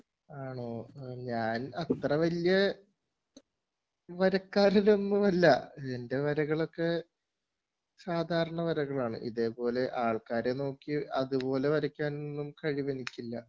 ആണോ ഞാൻ അത്ര വല്ല്യ വരക്കാരനൊന്നുമല്ല എൻ്റെ വരകളൊക്കെ സാദാരണ വരകളാണ് ഇതേപോലെ ആൾക്കാരെ നോക്കി അത്പോലെ വരക്കാനൊന്നും കഴിവെനിക്കില്ല